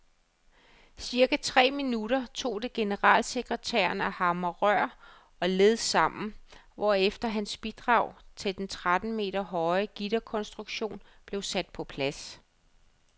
Cirka tre minutter tog det generalsekretæren at hamre rør og led sammen, hvorefter hans bidrag til den tretten meter høje gitterkonstruktion blev sat på plads.